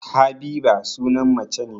Habiba sunan mace ne